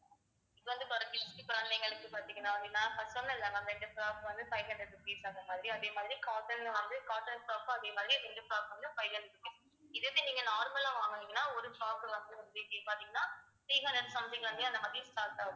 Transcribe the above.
இப்ப வந்து குழந்தைகளுக்கு பாத்தீங்கன்னா ma'am நான் சொன்னன்ல ma'am ரெண்டு frock வந்து five hundred rupees அந்த மாதிரி அதே மாதிரி cotton ல வந்து cotton top உம் அதே மாதிரி வந்துக்கும் இது எப்படி நீங்க normal லா வாங்குனீங்கன்னா ஒரு frock வந்து பார்த்தீங்கன்னா three hundred something ல இருந்தே அந்த மாதிரி start ஆகும்